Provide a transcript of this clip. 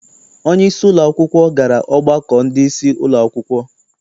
Onyeisi ụlọakwụkwọ gara ọgbakọ ndị isi ụlọakwụkwọ.